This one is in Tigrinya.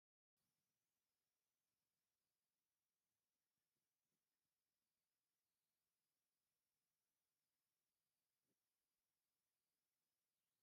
ፆዕዳ ብሩንዲ ስጋ ተንጠልጢሉ ኣሎ ሓደ ሰብአይ እውን ደው ኢሉ ኣሎ ። ናይ ሓደ ኪሎ ስጋ ክንደይ ቅርሺ እዩ ?